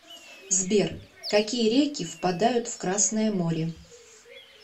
сбер какие реки впадают в красное море